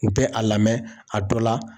U bɛ a lamɛn a dɔ la.